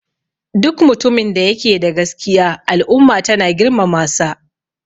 Duk mutumin da yake da gaskiya al'umma tana girmamasa